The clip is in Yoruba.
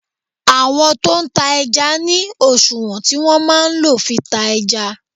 Àwọn tó tá ẹja ní òṣùwọ̀n tí wọn máa ń lo fi ta ẹja.